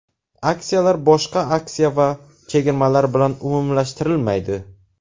Aksiyalar boshqa aksiya va chegirmalar bilan umumlashtirilmaydi.